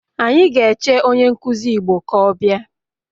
Anyi ga eche onye nkuzi igbo ka o bia